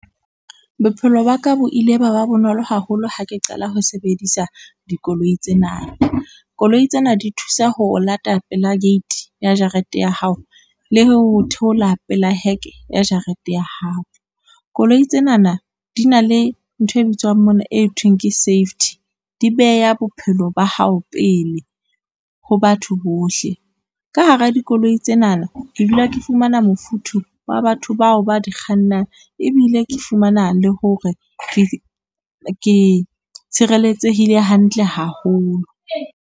Bophelo ba ka bo ile ba ba bonolo haholo ha ke qala ho sebedisa dikoloi tsena. Koloi tsena di thusa ho o lata pela gate ya jarete ya hao, le ho theola pela heke ya jarete ya hao. Koloi tsenana di na le ntho e bitswang mona, e thweng ke safety, di beya bophelo ba hao pele ho batho bohle. Ka hara dikoloi tsenana ke dula ke fumana mofuthu wa batho bao ba di kgannang ebile ke fumana le hore ke tshireletsehile hantle haholo.